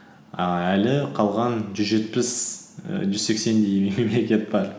ііі әлі қалған жүз жетпіс ііі жүз сексендей мемлекет бар